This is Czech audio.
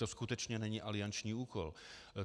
To skutečně není alianční úkol.